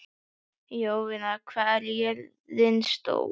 Jovina, hvað er jörðin stór?